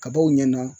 Kabaw ɲɛna